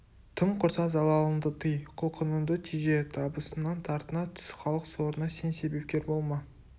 тым құрса залалыңды тый құлқыныңды теже табысыңнан тартына түс халық сорына сен себепкер болма